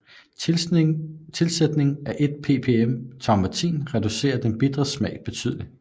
Tilsætning af 1 ppm thaumatin reducerer den bitre smag betydeligt